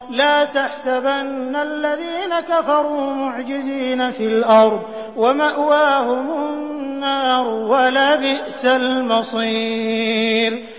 لَا تَحْسَبَنَّ الَّذِينَ كَفَرُوا مُعْجِزِينَ فِي الْأَرْضِ ۚ وَمَأْوَاهُمُ النَّارُ ۖ وَلَبِئْسَ الْمَصِيرُ